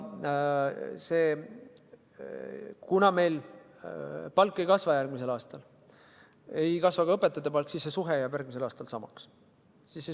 Kuna meil palgad järgmisel aastal ei kasva, siis ei kasva ka õpetajate palk ja see suhe jääb järgmisel aastal samaks.